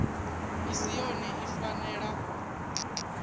i si yone i fanela